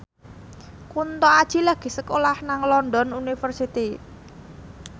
Kunto Aji lagi sekolah nang London University